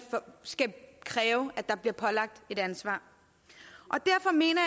skal kræve at der bliver pålagt et ansvar og derfor mener